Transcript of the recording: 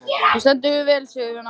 Þú stendur þig vel, Sigurvina!